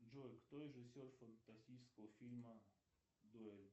джой кто режиссер фантастического фильма дуэль